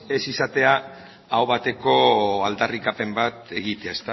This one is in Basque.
ez izatea aho bateko aldarrikapen bat egitea